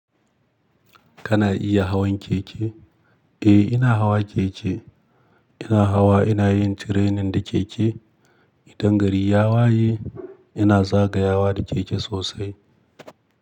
Kana iya hawan keke? Eh, ina hawa keke. Ina hawa, ina yin training da keke. Idan gari ya waye ina zagayawa da keke sosai.